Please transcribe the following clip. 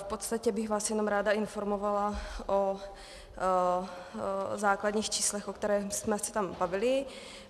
V podstatě bych vás jenom ráda informovala o základních číslech, o kterých jsme se tam bavili.